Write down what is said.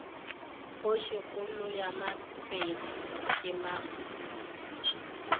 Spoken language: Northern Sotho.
kgošikgolo ya bapedi ke mampuru